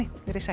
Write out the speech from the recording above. veriði sæl